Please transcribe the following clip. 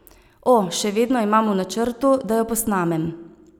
O, še vedno imam v načrtu, da jo posnamem.